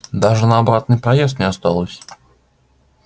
даже на обратный проезд не осталось